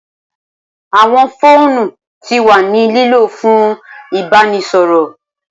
Awọn foonu ti wa ni lilo fun ibaraẹnisọrọ.